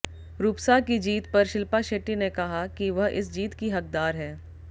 रूपसा की जीत पर शिल्पा शेट्टी ने कहा कि वह इस जीत की हकदार है